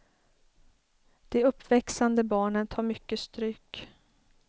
De uppväxande barnen tar mycket stryk.